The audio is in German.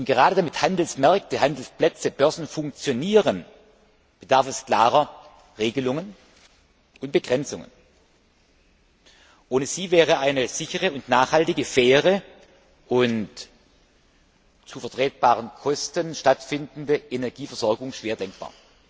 Gerade damit Handelsmärkte, Handelsplätze, Börsen funktionieren, bedarf es klarer Regelungen und Begrenzungen. Ohne sie wäre eine sichere und nachhaltige, faire und zu vertretbaren Kosten stattfindende Energieversorgung schwer denkbar.